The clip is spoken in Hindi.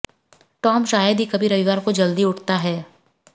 टॉम शायद ही कभी रविवार को जल्दी उठता है